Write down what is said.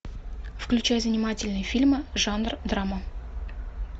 включай занимательные фильмы жанр драма